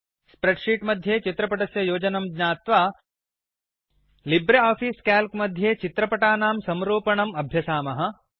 spread sheet मध्ये चित्रपटस्य योजनं ज्ञात्वा लिब्रियोफिस काल्क मध्ये चित्रपटनां संरूपणम् अभ्यसामः